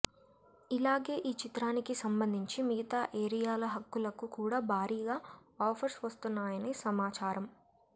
ఇలాగే ఈ చిత్రానికి సంబంధించి మిగతా ఏరియాల హక్కులకు కూడా భారీగా ఆఫర్స్ వస్తున్నాయని సమాచారమ్